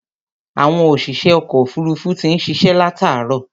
Àwọn òṣìṣẹ́ ọkọ̀ òfuruufú ti ń ṣiṣẹ́ látààárọ̀.